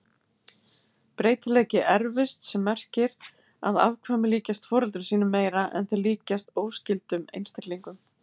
Breytileiki erfist sem merkir að afkvæmi líkjast foreldrum sínum meira en þeir líkjast óskyldum einstaklingum.